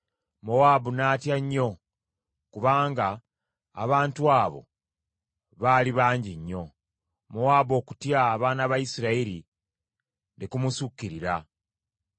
Mowaabu n’atya nnyo kubanga abantu abo baali bangi nnyo. Mowaabu okutya abaana ba Isirayiri ne kumusukkirira.